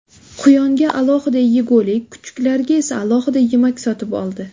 Quyonga alohida yegulik, kuchuklarga esa alohida yemak sotib oldi.